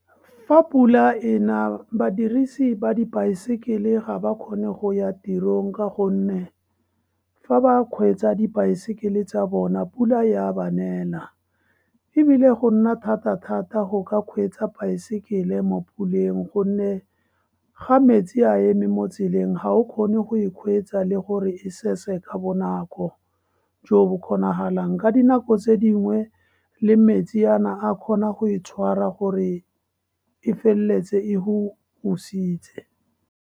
Fa pula ena, badirisi ba dibaesekele ga ba kgone go ya tirong ka gonne fa ba kgweetsa dibaesekele tsa bona, pula ya ba nela. E bile go nna thata-thata go ka kgweetsa baesekele mo puleng, gonne ga metsi a eme motseleng, ga o kgone go kgweetsa, le gore e sese ka bonako jo bo kgonagalang. Ka dinako tse dingwe le metsi a a ka kgona go e tshwara gore e feleletse e go .